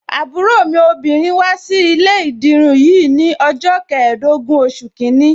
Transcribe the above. Àbúrò mi obìnrin wá sí ilé ìdirun yìí ni ọjọ́ keedogun oṣù kìíní.